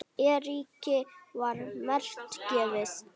Eiríki var margt gefið.